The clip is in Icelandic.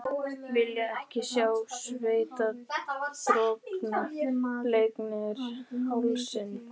Hvítár Þessir fáránlegu annmarkar, sem áttu rætur í áróðri